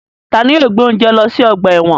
Tani yóò gbe ounje lọ si ọgba ẹ́wọ̀n?